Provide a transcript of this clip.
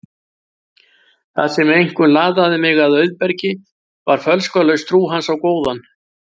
Það sem einkum laðaði mig að Auðbergi var fölskvalaus trú hans á góðan